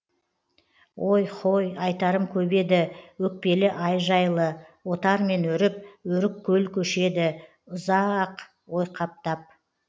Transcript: ой һой айтарым көп еді өкпелі ай жайлы отармен өріп өрік көл көшеді ұза а ақ ойқаптап